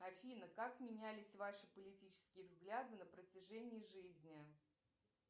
афина как менялись ваши политические взгляды на протяжении жизни